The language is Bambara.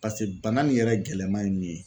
Pase bana nin yɛrɛ gɛlɛman ye min ye